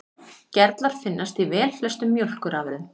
Gerlar finnast í velflestum mjólkurafurðum.